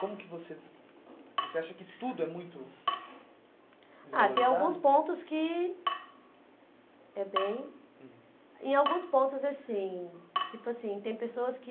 Como que você... Você acha que tudo é muito... Ah, tem alguns pontos que... É bem... Uhum. Em alguns pontos, assim... Tipo assim, tem pessoas que...